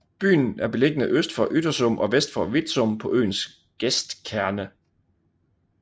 Byen er beliggende øst for Yttersum og vest for Vitsum på øens gestkerne